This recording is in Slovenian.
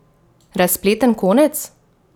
Razpleten konec?